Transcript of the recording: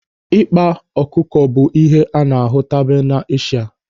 Ịkpa ọkụkọ bụ ihe a na-ahụtabu n'Eshia.